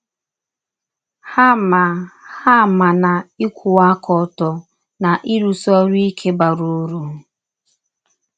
Ha ma Ha ma na ịkwụwa aka ọtọ na ịrụsi ọrụ ike bara ụrụ....